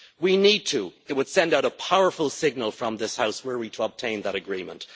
We need to it would send out a powerful signal from this House, were we to obtain that agreement.